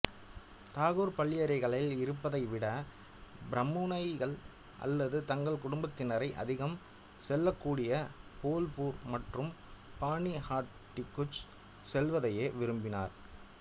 தாகூர் பள்ளியறைகளில் இருப்பதை விட பிரபுமனைகள் அல்லது தங்கள் குடும்பத்தினர் அதிகம் செல்லக்கூடிய போல்பூர் மற்றும் பானிஹாட்டிக்குச் செல்வதையே விரும்பினார்